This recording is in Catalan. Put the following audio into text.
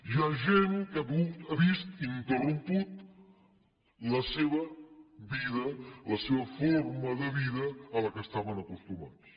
hi ha gent que ha vist interrompuda la seva vida la seva forma de vida a la qual estaven acostumats